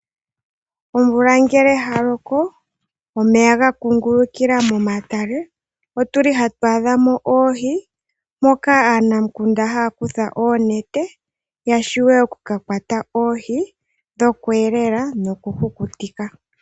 Omvula ngela ya loko, omeya ga kungulukila momatale , otuli hatu adha mo oohi moka aanamukunda haya kutha oonete , ya shiwe oku ka kwata oohi dhokuyelela nokukutika.